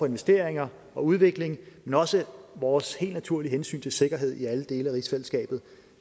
investeringer og udvikling men også vores helt naturlige hensyn til sikkerhed i alle dele af rigsfællesskabet